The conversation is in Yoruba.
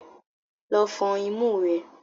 Lọ fọn imú rẹ!